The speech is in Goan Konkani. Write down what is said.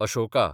अशोका